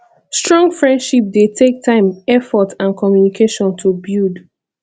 strong friendship dey take time effort and communication to build